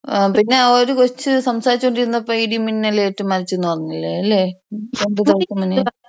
അത് ആ ഒരു കൊച്ച് സംസാരിച്ചു കൊണ്ടിരുന്നപ്പോ ഇടി മിന്നൽ ഏറ്റ് മരിച്ചൂന്ന് പറഞ്ഞില്ലേ ലെ ? രണ്ട് നാലീസം മുന്നേ.